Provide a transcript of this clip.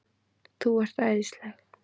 ÞÚ ERT ÆÐISLEG!